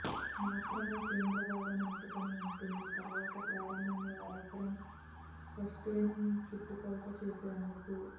మాత్రమే కేంద్ర భాగం అంటుకొనిఉంటుంది తరువాత ప్రారంభంలో అవసరం ఫాస్టెనింగ్ చుట్టుకొలత చేసేందుకు